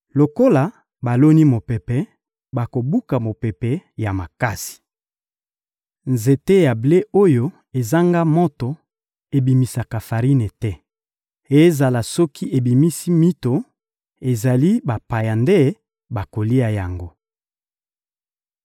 «Lokola baloni mopepe, bakobuka mopepe ya makasi. Nzete ya ble oyo ezanga moto ebimisaka farine te. Ezala soki ebimisi mito, ezali bapaya nde bakolia yango.